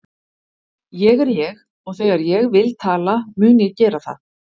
Ég er ég og þegar ég vil tala mun ég gera það.